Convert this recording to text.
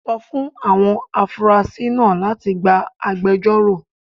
Sọ fún àwọn afurasí náà láti gba agbẹjọ́rò